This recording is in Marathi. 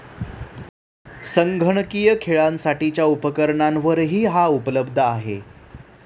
संगणकीय खेळांसाठीच्या उपकरणांवरही हा उपलब्ध आहे.